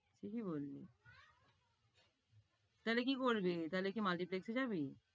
ঠিকই বললি। তাইলে কি করবি, তাইলে কি multiplex এ যাবি?